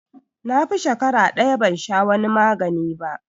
Na fi shakara ɗaya ban sha wani magani ba